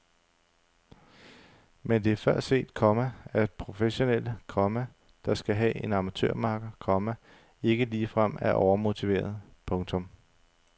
Men det er før set, komma at professionelle, komma der skal have en amatørmakker, komma ikke ligefrem er overmotiverede. punktum